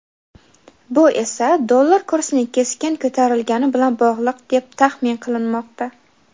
Bu esa dollar kursining keskin ko‘tarilgani bilan bog‘liq deb tahmin qilinmoqda.